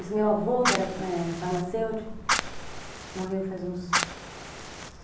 Esse meu avô, que era, ãh, farmacêutico, morreu faz uns